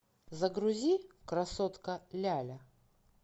загрузи красотка ляля